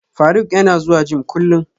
Faruk yana zuwa gym kullum